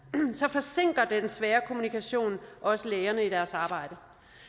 forsinker den svære kommunikation også lægerne i deres arbejde